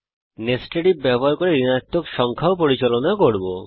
nested IF ব্যবহার করে ঋণাত্মক সংখ্যাও পরিচালনা করব